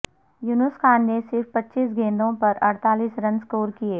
یونس خان نے صرف پچیس گیندوں پر اڑتالیس رن سکور کیے